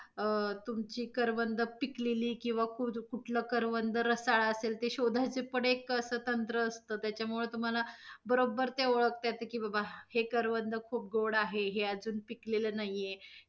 अ~ तुमची करवंद पिकलेली किंवा खुर्द~ कुठल करवंद रसाळ असेल ते पण शोधयच पण एक अस तंत्र असत. त्याच्यामुळ तुम्हाला बरोबर ते ओळखता येत, की बाबा हे करवंद खूप गोड आहे, हे अजून पिकलेल नाही ये.